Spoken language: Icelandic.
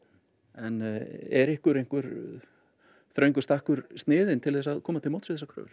en er ykkur ykkur þröngur stakkur sniðinn til að koma til móts við þessar kröfur